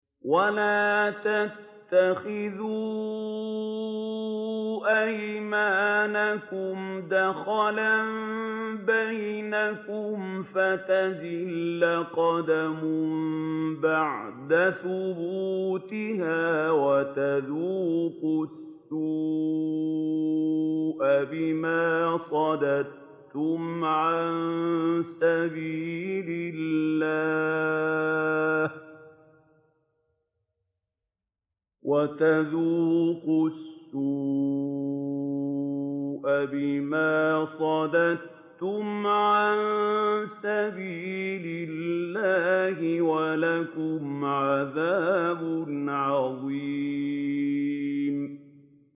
وَلَا تَتَّخِذُوا أَيْمَانَكُمْ دَخَلًا بَيْنَكُمْ فَتَزِلَّ قَدَمٌ بَعْدَ ثُبُوتِهَا وَتَذُوقُوا السُّوءَ بِمَا صَدَدتُّمْ عَن سَبِيلِ اللَّهِ ۖ وَلَكُمْ عَذَابٌ عَظِيمٌ